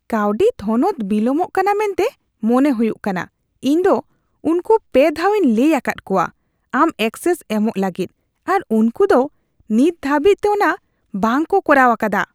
ᱠᱟᱹᱣᱰᱤ ᱛᱷᱚᱱᱚᱛ ᱵᱤᱞᱚᱢᱚᱜ ᱠᱟᱱᱟ ᱢᱮᱱᱛᱮ ᱢᱚᱱᱮ ᱦᱩᱭᱩᱜ ᱠᱟᱱᱟ ᱾ ᱤᱧ ᱫᱚ ᱩᱝᱠᱩ ᱓ ᱫᱷᱟᱣᱤᱧ ᱞᱟᱹᱭ ᱟᱠᱟᱫ ᱠᱚᱣᱟ ᱟᱢ ᱮᱠᱥᱮᱥ ᱮᱢᱚᱜ ᱞᱟᱹᱜᱤᱫ ᱟᱨ ᱩᱝᱠᱩ ᱫᱚ ᱱᱤᱛ ᱫᱷᱟᱹᱵᱤᱡᱛᱮ ᱚᱱᱟ ᱵᱟᱝᱠᱚ ᱠᱚᱨᱟᱣ ᱟᱠᱟᱫᱟ ᱾